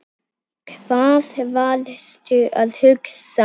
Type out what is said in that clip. Hvað varstu að hugsa?